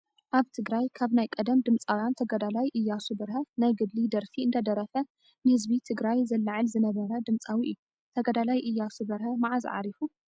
ኣብ ትግራይ ካብ ናይ ቀደም ድምፃውያን ተጋዳላይ ኢያሱ በርሀ ናይ ገድሊ ደርፊ እንዳደረፈ ንህዝቢ ትግራይ ዘላዕል ዝነበረ ድምፃዊ እዩ። ተጋዳላይ ኢያሱ በርሀ ማዓስ ዓሪፉ ?